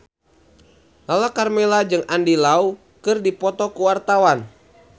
Lala Karmela jeung Andy Lau keur dipoto ku wartawan